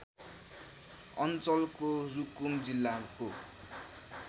अञ्चलको रुकुम जिल्लाको